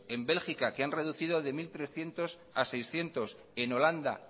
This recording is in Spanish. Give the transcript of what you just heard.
el bélgica que han reducido de mil trescientos a seiscientos en holanda